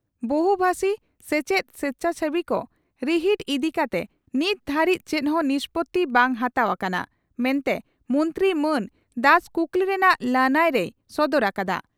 ᱵᱚᱦᱩᱵᱷᱟᱥᱤ ᱥᱮᱪᱮᱫ ᱥᱮᱪᱷᱟᱥᱮᱵᱤ ᱠᱚ ᱨᱤᱦᱤᱴ ᱤᱫᱤ ᱠᱟᱛᱮ ᱱᱤᱛ ᱫᱷᱟᱹᱨᱤᱡ ᱪᱮᱫ ᱦᱚᱸ ᱱᱤᱥᱯᱳᱛᱤ ᱵᱟᱝ ᱦᱟᱛᱟᱣ ᱟᱠᱟᱱᱟ ᱢᱮᱱᱛᱮ ᱢᱚᱱᱛᱨᱤ ᱢᱟᱱ ᱫᱟᱥ ᱠᱩᱠᱞᱤ ᱨᱮᱱᱟᱜ ᱞᱟᱹᱱᱟᱹᱭ ᱨᱮᱭ ᱥᱚᱫᱚᱨ ᱟᱠᱟᱫᱼᱟ ᱾